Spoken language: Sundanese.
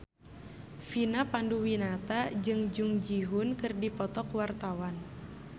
Vina Panduwinata jeung Jung Ji Hoon keur dipoto ku wartawan